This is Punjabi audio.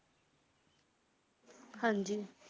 ਹਾਂਜੀ